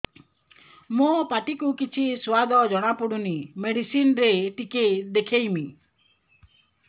ମୋ ପାଟି କୁ କିଛି ସୁଆଦ ଜଣାପଡ଼ୁନି ମେଡିସିନ ରେ ଟିକେ ଦେଖେଇମି